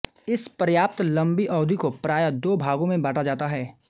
इस पर्याप्त लंबी अवधि को प्राय दो भागों में बाँटा जाता है